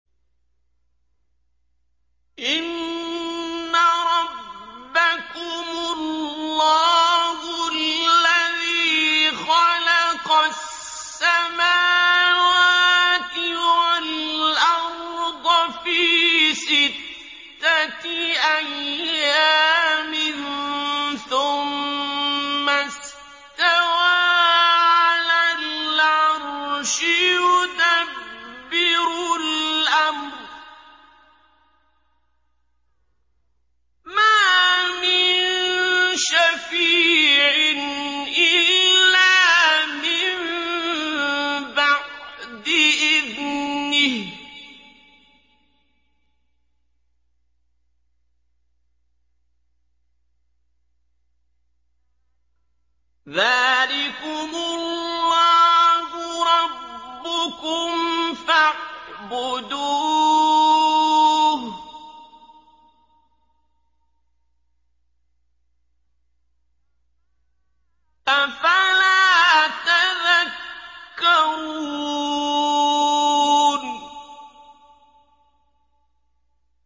إِنَّ رَبَّكُمُ اللَّهُ الَّذِي خَلَقَ السَّمَاوَاتِ وَالْأَرْضَ فِي سِتَّةِ أَيَّامٍ ثُمَّ اسْتَوَىٰ عَلَى الْعَرْشِ ۖ يُدَبِّرُ الْأَمْرَ ۖ مَا مِن شَفِيعٍ إِلَّا مِن بَعْدِ إِذْنِهِ ۚ ذَٰلِكُمُ اللَّهُ رَبُّكُمْ فَاعْبُدُوهُ ۚ أَفَلَا تَذَكَّرُونَ